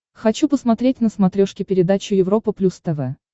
хочу посмотреть на смотрешке передачу европа плюс тв